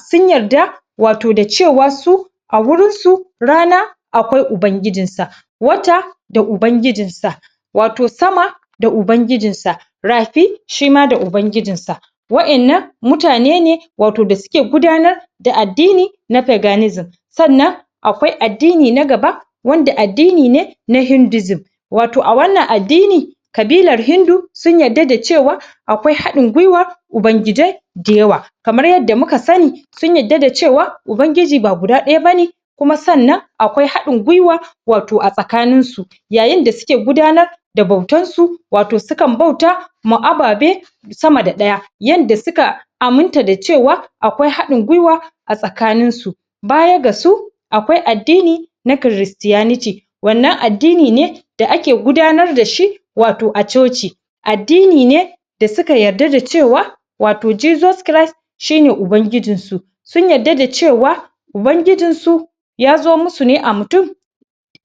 sun yarda wwato da cewa su a wurin su rana akwai ubangijin sa wata da ubangijin sa wato sama da ubangijin ta rafi shima da ubangijin sa wadannan mutane ne wato da suke gudanar da addini da peganism sannan akwai addini na gaba wato wanda addini ne na hindusm wato a wannan addini kabilar hindu sun yarda da cewa akwai hadin gwiwar ubangijai da yawa kamar yarda muka sani sun yarda da cewa ubangiji ba guda daya bane kuma sannan akwai hadin gwiwa wato a tsakanin su yayin da suke gudanar da bautar su wato sukan bauta ma ababe sama da daya yanda suka aminta da cewa akwai hadin gwiwa a tsakanin su a tsakanin su baya ga su akwai addini na cristianity wannan addini ne da ake gudanar da shi wato a choci addini ne da suka yarda da cewa wato jesus christ shine ubangijin su sun yarda da cewa ubangijin su yazo masu ne a mutum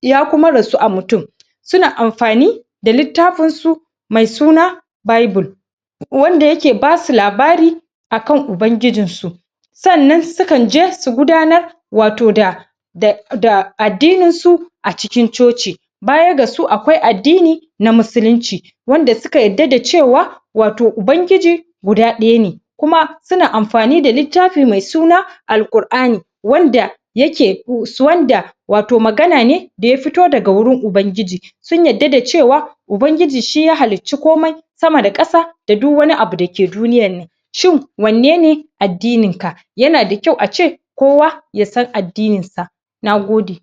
ya kuma rasu a mutum suna amfani da littafin su me suna bible wanda yake basu labari akan ubangijin su sannan sukanje su gudanar wato da da addinin su a cikin choci baya ga su akwai addini na musulinci wanda suka yarda da cewa wato ubangiji guda daya ne kuma suna mafani da littafi mai suna alqur'ani wanda yake wanda wato magana ne daya fito daga wurin ubangiji sun yarda da cewa ubagiji shiya halicci komai sama da kasa da duk wani abu dake duniyar nan shin wanne ne addinin ka yanada kyau ace kowa yasan addinin sa na gode